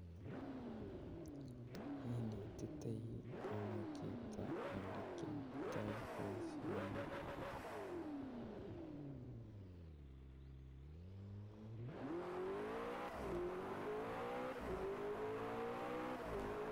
Inetitoi ono chito olekiyoito boisioni?